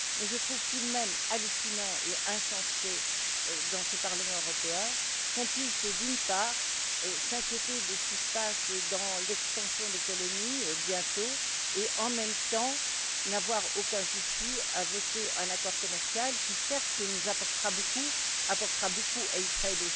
Mais je trouve tout de même hallucinant et insensé dans ce Parlement européen qu'on puisse, d'une part, s'inquiéter de ce qui se passe dans l'extension des colonies, bientôt et, en même temps, n'avoir aucun souci à voter un accord commercial qui, certes, nous apportera beaucoup, tout comme à Israël,